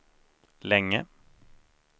länge